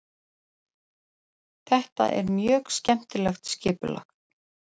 Þetta er mjög skemmtilegt skipulag.